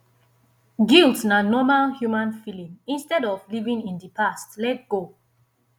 guilt na normal human feelings instead of living in di past let go